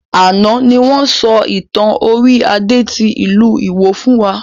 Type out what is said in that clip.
Àná ni wọn sọ ìtàn orí Adé tí ìlú ìwó fún wa